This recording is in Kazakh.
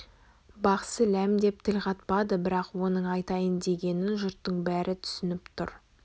бақсы ләм деп тіл қатпады бірақ оның айтайын дегенін жұрттың бәрі түсініп тұр